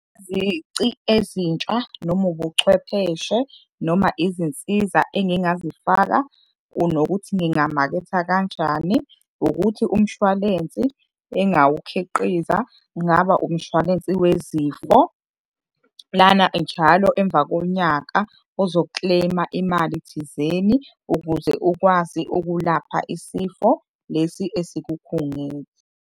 Izici ezintsha noma ubuchwepheshe noma izinsiza engingazifaka, nokuthi ngingamaketha kanjani ukuthi umshwalensi engawukhiqiza kungaba umshwalensi wezifo, lana njalo emva konyaka ozo-claim-a imali thizeni ukuze ukwazi ukulapha isifo lesi esikukhungethe.